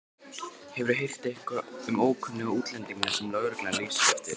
Hefurðu heyrt eitthvað um ókunnuga útlendinga sem lögreglan lýsir eftir?